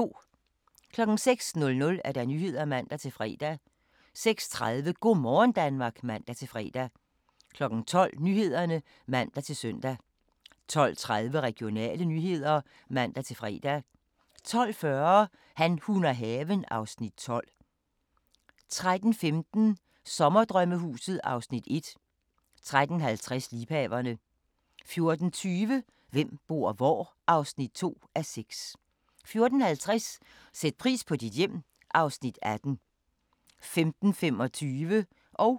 06:00: Nyhederne (man-fre) 06:30: Go' morgen Danmark (man-fre) 12:00: Nyhederne (man-søn) 12:30: Regionale nyheder (man-fre) 12:40: Han, hun og haven (Afs. 12) 13:15: Sommerdrømmehuset (Afs. 1) 13:50: Liebhaverne 14:20: Hvem bor hvor? (2:6) 14:50: Sæt pris på dit hjem (Afs. 18) 15:25: Grænsepatruljen